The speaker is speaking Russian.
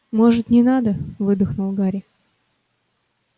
может не надо выдохнул гарри